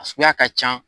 A suguya ka can